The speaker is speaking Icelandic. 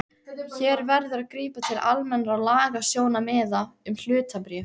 Hér verður að grípa til almennra lagasjónarmiða um hlutabréf.